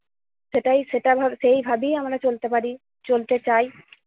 সেটাই সেটা ভাব~ সেই ভাবেই আমরা চলতে পারি, চলতে চাই।